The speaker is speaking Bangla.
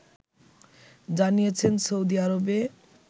জানিয়েছেন সৌদি আরবে